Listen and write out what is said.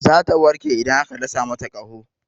Zata warke idan aka dasa mata ƙoda.